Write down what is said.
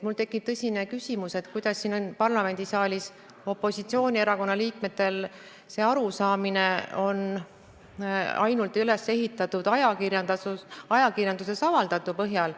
Mul tekib tõsine küsimus, et kuidas saab siin parlamendisaalis viibivatel opositsioonierakonna liikmetel olla see arusaam üles ehitatud ainult ajakirjanduses avaldatu põhjal.